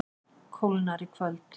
Kólnar í kvöld